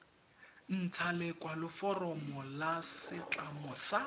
ntsha lekwaloforomo la setlamo sa